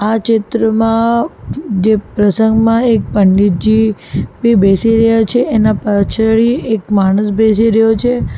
આ ચિત્રમાં જે જે પ્રસંગમાં એક પંડિતજી બી બેસી રહ્યા છે એના પછાડી એક માણસ બેસી રહ્યો છે.